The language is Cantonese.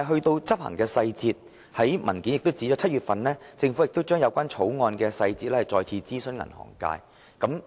在執行細節方面，資料摘要指出政府已於7月就《條例草案》的細節再次諮詢銀行界。